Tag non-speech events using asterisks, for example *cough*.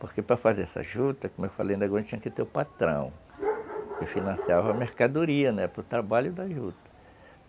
Porque para fazer essa juta, como eu falei ainda agora, tinha que ter o patrão que *noise* financiava a mercadoria, né, para o trabalho da juta.